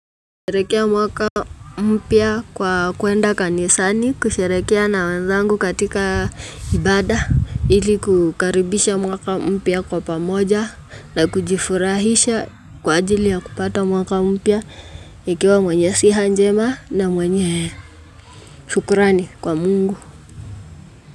Kusherehekea mwaka mpya kwa kuenda kanisani, kusherehekea na wenzangu katika ibada, ili kukaribisha mwaka mpya kwa pamoja, na kujifurahisha kwa ajili ya kupata mwaka mpya, ikiwa mwenye siha njema na mwenye shukrani kwa Mungu.